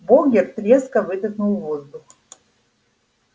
богерт резко выдохнул воздух